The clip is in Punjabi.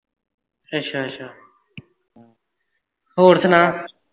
ਅੱਛਾ ਅੱਛਾ ਹੋਰ ਸੁਣਾ